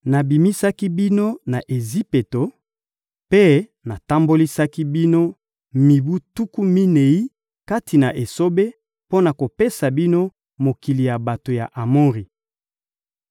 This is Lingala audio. Nabimisaki bino na Ejipito mpe natambolisaki bino mibu tuku minei kati na esobe mpo na kopesa bino mokili ya bato ya Amori.